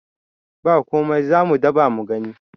ba komai za mu dabamu gani